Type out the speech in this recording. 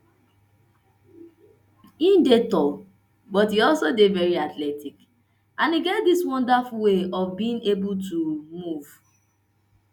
e dey tall but e also dey very athletic and e get dis wonderful way of being able to able to move